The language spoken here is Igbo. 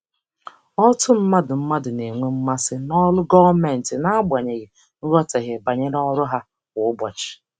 Ọtụtụ mmadụ mmadụ na-enwe mmasị n'ọrụ gọọmentị n'agbanyeghị nghọtahie banyere ọrụ ha kwa ụbọchị.